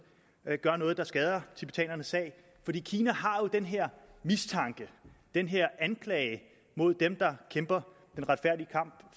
gør noget der skader tibetanernes sag fordi kina jo har den her mistanke den her anklage mod dem der kæmper den retfærdige kamp